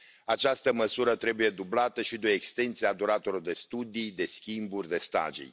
Această măsură trebuie dublată și de o extensie a duratelor de studii, de schimburi, de stagii.